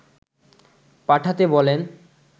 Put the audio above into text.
পাঠাতে বলেন